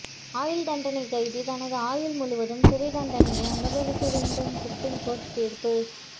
ஆயுள் தண்டனை கைதி தனது ஆயுள் முழுவதும் சிறை தண்டனை அனுபவிக்க வேண்டும் சுப்ரீம் கோர்ட்டு தீர்ப்பு